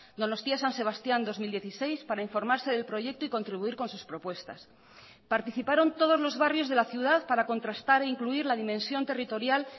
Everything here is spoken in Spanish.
donostia san sebastían dos mil dieciséis para informarse del proyecto y contribuir con sus propuestas participaron todos los barrios de la ciudad para contrastar e incluir la dimensión territorial